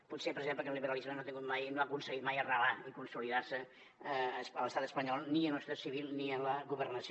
pot ser per exemple que el liberalisme no ha aconseguit mai arrelar i consolidar se a l’estat espanyol ni en la societat civil ni en la governació